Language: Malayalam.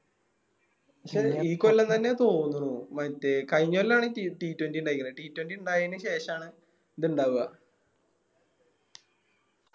ഈ കൊല്ലം തന്നെയാ തോന്നുണു മറ്റേ കയിഞ്ഞ കൊല്ലാണ് T twenty ഇണ്ടായിക്കണേ T twenty ഇണ്ടായെന് ശേഷണ് ഇത് ഇണ്ടവ